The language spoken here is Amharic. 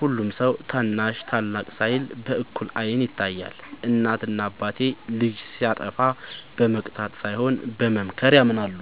ሁሉም ሰው ታናሽ ታላቅ ሳይል በእኩል አይን ይታያል። እናት እና አባቴ ልጅ ሲያጠፋ በመቅጣት ሳይሆን በመምከር ያምናሉ።